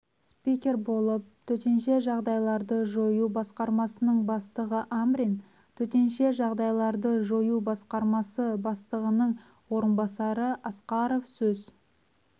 спикер болып төтенше жағдайларды жою басқармасының бастығы амрин төтенше жағдайларды жою басқармасы бастығының орынбасары асқаров сөз